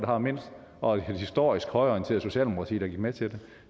har mindst og et historisk højreorienteret socialdemokrati der gik med til